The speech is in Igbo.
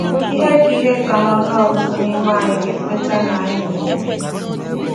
Ihe ka Ihe ka n’ọnụ ọgụgụ n’ime anyị ga-ekweta na anyị na-enwe.